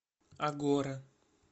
агора